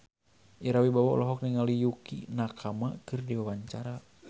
Ira Wibowo olohok ningali Yukie Nakama keur diwawancara